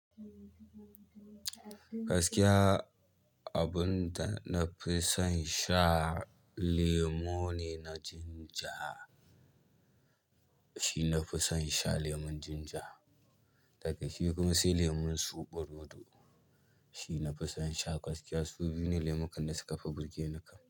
Gaskiya abun da na fi son sha lemo ne na ginger. Shi na fi son sha lemon ginger. Daga shi kuma sai lemon zoɓorodo. Shi nafi son sha gaskiya su biyu ne lemukan da suka fi burge ni kam.